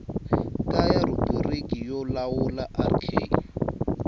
kaya rhubiriki yo lawula rk